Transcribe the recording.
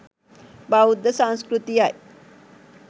බෞද්ධ සංස්කෘතියයි.